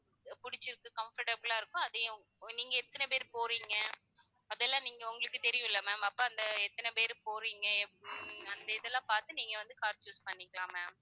புடிச்சிருக்கு comfortable லா இருக்கோ அதயே உங்~ நீங்க எத்தனை பேர் போறீங்க அதெல்லாம் நீங்க உங்களுக்கு தெரியும் இல்ல ma'am அப்ப அந்த எத்தனை பேர் போறீங்க ஹம் அந்த இதெல்லாம் பாத்து நீங்க வந்து car choose பண்ணிக்கலாம் ma'am